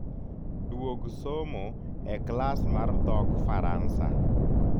duog somo e klas mar dhokfaransa